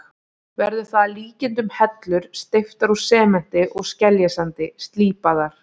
Verður það að líkindum hellur steyptar úr sementi og skeljasandi, slípaðar.